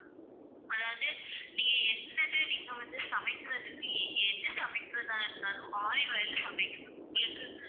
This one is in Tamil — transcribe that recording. அதாவது நீங்க என்னது நீங்க வந்து சமைக்கிறதுக்கு எது சமைக்கிறதா இருந்தாலும் olive oil ல சமைங்க ma'am உங்களுக்கு